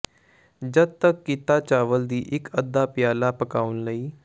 ਜਦ ਤੱਕ ਕੀਤਾ ਚਾਵਲ ਦੀ ਇੱਕ ਅੱਧਾ ਪਿਆਲਾ ਪਕਾਉਣ ਲਈ